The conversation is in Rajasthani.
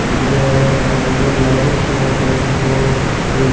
दिख रहे है बाहर एक बोर्ड लाग रख्यो है डाकघर को और --